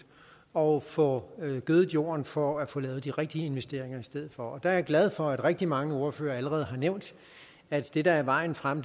og får gødet jorden for at få lavet de rigtige investeringer i stedet for der er jeg glad for at rigtig mange ordførere allerede har nævnt at det der er vejen frem